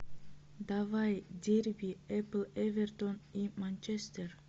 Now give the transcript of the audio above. давай дерби апл эвертон и манчестер